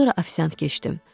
Sonra ofisiant keçdim.